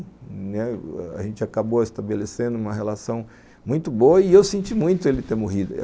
A gente acabou estabelecendo uma relação muito boa e eu senti muito ele ter morrido.